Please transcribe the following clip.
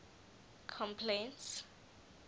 complaints